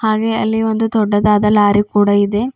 ಹಾಗೆ ಅಲ್ಲಿ ಒಂದು ದೊಡ್ಡದಾದ ಲಾರಿ ಕೂಡ ಇದೆ.